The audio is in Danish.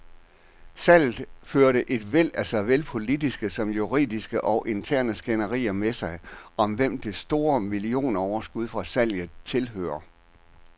Salget førte et væld af såvel politiske som juridiske og interne skænderier med sig, om hvem det store millionoverskud fra salget tilhører.